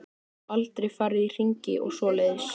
Aldrei farið í hringi og svoleiðis.